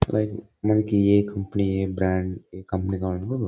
మనకి ఏ కంపెనీ ఏ బ్రాండ్ ఏ కంపెనీ కావాలంటే --